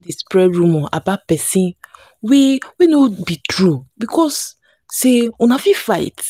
wen you notice say pesin dey vex abeg give abeg give am small space make e chill.